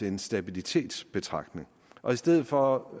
en stabilitetsbetragtning og i stedet for